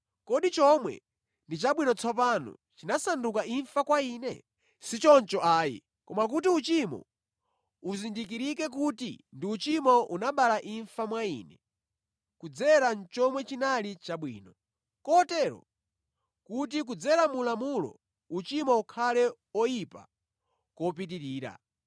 Kodi chomwe ndi chabwino tsopano chinasanduka imfa kwa ine? Si choncho ayi! Koma kuti uchimo uzindikirike kuti ndi uchimo unabala imfa mwa ine kudzera mu chomwe chinali chabwino, kotero kuti kudzera mu lamulo uchimo ukhale oyipa kopitirira.